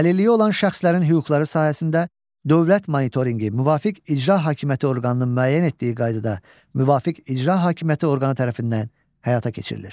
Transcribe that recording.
Əlilliyi olan şəxslərin hüquqları sahəsində dövlət monitorinqi müvafiq icra hakimiyyəti orqanının müəyyən etdiyi qaydada müvafiq icra hakimiyyəti orqanı tərəfindən həyata keçirilir.